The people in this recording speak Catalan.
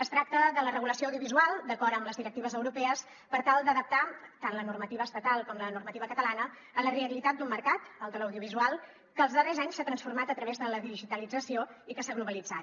es tracta de la regulació audiovisual d’acord amb les directives europees per tal d’adaptar tant la normativa estatal com la normativa catalana a la realitat d’un mercat el de l’audiovisual que els darrers anys s’ha transformat a través de la digitalització i que s’ha globalitzat